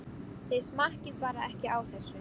Þið smakkið bara ekki á þessu!